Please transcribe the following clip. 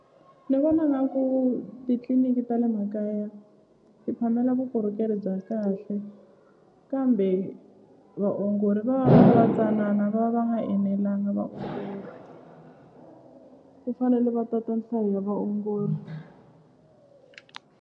Ni vona nga ku titliniki ta le makaya ti phamela vukorhokeri bya kahle kambe vaongori va va va ri va tsanana va va va nga enelanga ku fanele va tata nhlayo ya vaongori.